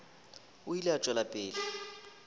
o ile a tšwela pele